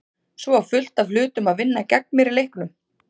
Svo var fullt af hlutum að vinna gegn mér í leiknum.